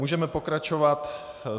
Můžeme pokračovat.